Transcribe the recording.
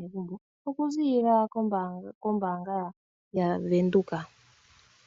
megumbo, okuziilila kombaanga yavenduka.